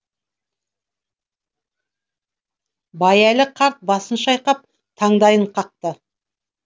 байәлі қарт басын шайқап таңдайын қақты